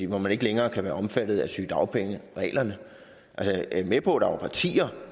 hvor man ikke længere kan være omfattet af sygedagpengereglerne jeg er med på at der var partier